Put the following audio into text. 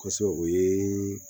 Kosɔbɛ o ye